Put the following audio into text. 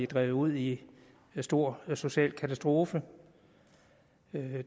drevet ud i stor social katastrofe